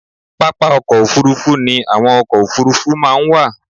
Pápá ọkọ̀ òfuurufú ni àwọn ọkọ̀ òfuurufú máa ń wà.